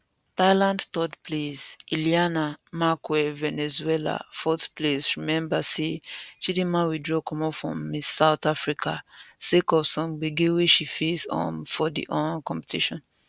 thailand third place ileana marquez venezuela fourth place rememba say chidimmawithdraw comot from miss south africasake of some gbege wey she face um for di um competition